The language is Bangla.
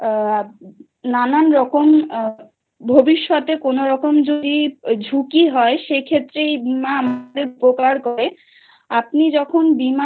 আ নানান রকম ভবিষ্যতে কোনওরকম যদি ঝুঁকি হয় সেক্ষেত্রে আমাদের উপকার করে। আপনি যখন